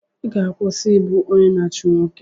Ị ga-akwụsị ịbụ onye na-achụ nwoke!